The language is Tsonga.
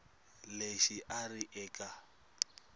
lexi a a ri eka